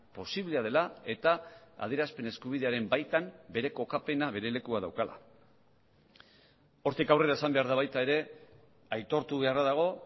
posiblea dela eta adierazpen eskubidearen baitan bere kokapena bere lekua daukala hortik aurrera esan behar da baita ere aitortu beharra dago